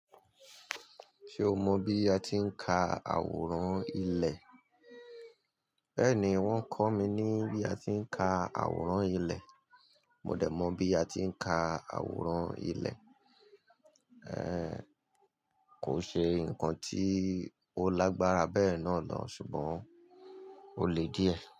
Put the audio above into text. Ṣé o mọ bí a ti ń ka àwòrán ilẹ̀? Bẹ́ẹ̀ni, wọ́n kọ́ mi ní bí a ti ń ka àwòrán ilẹ̀. Mo dẹ̀ mọ̀ bí a ti ń ka àwòrán ilẹ̀. Kọ́ ń ṣe nǹkan tí ó lágbára bẹ́ẹ̀ náà lọ, ṣùgbọ́n ó le díẹ̀.